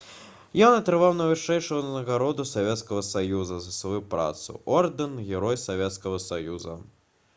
ён атрымаў найвышэйшую ўзнагароду савецкага саюза за сваю працу — ордэн «герой савецкага саюза»